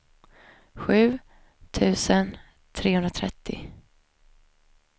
sju tusen trehundratrettio